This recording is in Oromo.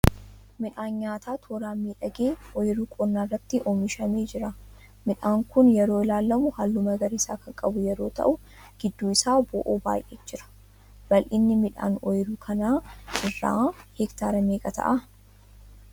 Midhaan nyaataa tooraan miidhagee oyiruu qonnaa irraatti oomishamee jira. Midhaan kun yeroo ilaalamu halluu magariisaa kan qabu yeroo ta'uu gidduu isaa bo'oon ba'ee jira. bal'innii midhaan oyiruu kana irraa hectaara meeqa ta'aa?